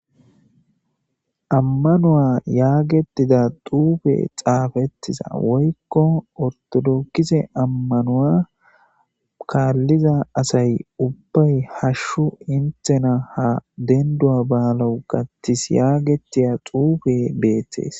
ammanuwa yaagetida xuufe xaafettiza woykko ortodokise ammanuwa kaalliza asay ubbay hashshu intena ha dendu7a baalau gattis yaagetiya xuufe beeththees